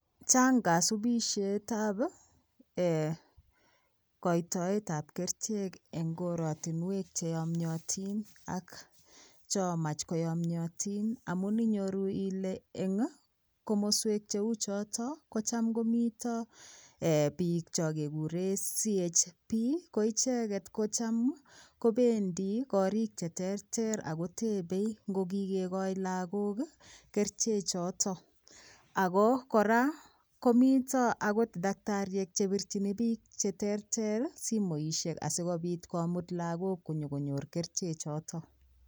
Chang kasupisietab ee koitoetab kerichek eng koratinwek che yamyatin ak chomachkoyamyatin amun inyoru ile eng komoswek cheu choto kocham komito biik cho kekuren CHB ko icheget kocham kobendi korik cheterter ago tebei ngo kigegoe lagok kerichechoto ago kora komito agot daktariek chebirchini biik cheterter simoisiek asigopit komut lagok konyokonyor keriche choto.